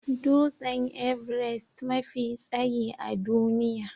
Dutsen Everest mafi tsayi a duniya